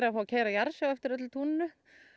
fá að keyra jarðsjá eftir öllu túninu